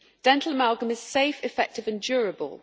Dental amalgam is safe, effective and durable.